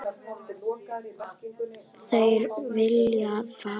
Þeir vilja frið.